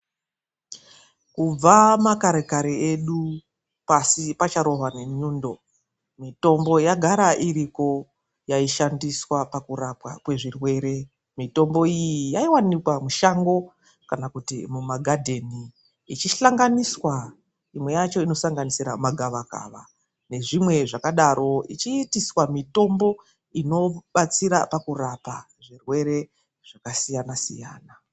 Kubva makare kare edu, pashi pacharohwa ngenyundo, mitombo yagara iriko yaishandiswa pakurapwa kwezvirwere. Mitombo iyi yaionekwa mushango kana kuti mumagadheni ichihlanganiswa. Imwe yacho inosanganisira magavakava nezvimweni zvakadaro ichiitiswa mitombo inodetsera pakurapa zvirwere zvakasiyana-siyana.